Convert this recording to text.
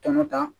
Tɔnɔ ta